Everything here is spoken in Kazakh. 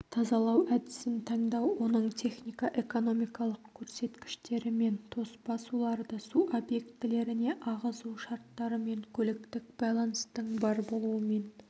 тазалау әдісін таңдау оның техника-экономикалық көрсеткіштерімен тоспа суларды су объектілеріне ағызу шарттарымен көліктік байланыстың бар болуымен